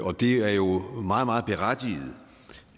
og det er jo meget berettiget